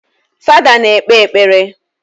Fada na-ekpe ekpere